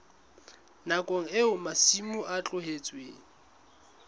nakong eo masimo a tlohetsweng